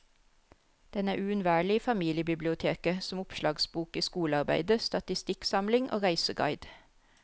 Den er uunnværlig i familiebiblioteket, som oppslagsbok i skolearbeidet, statistikksamling og reiseguide.